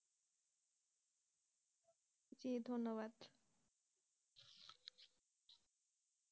ধন্যবাদ।